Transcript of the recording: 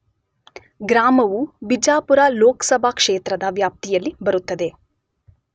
ಗ್ರಾಮವು ಬಿಜಾಪುರ ಲೋಕಸಭಾ ಕ್ಷೇತ್ರದ ವ್ಯಾಪ್ತಿಯಲ್ಲಿ ಬರುತ್ತದೆ.